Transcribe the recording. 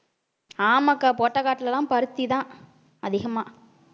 ஆமாக்கா போட்ட காட்டிலேதான் பருத்திதான் அதிகமா